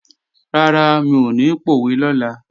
Rárá, mi ò ní pòwe lọ́la